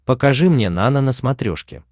покажи мне нано на смотрешке